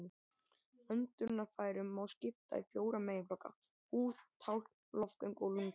Öndunarfærum má skipta í fjóra meginflokka: húð, tálkn, loftgöng og lungu.